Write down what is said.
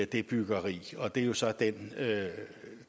det byggeri og det er så den